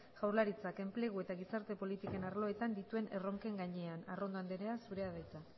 jaurlaritzak enplegu eta gizarte politiken arloetan dituen erronken gainean arrondo andrea zurea da hitza